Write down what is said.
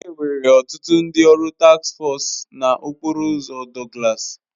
Enwere ọtụtụ ndị ọrụ task foosu na okporo ụzọ Douglas